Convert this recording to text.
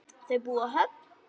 Þau búa á Höfn.